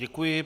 Děkuji.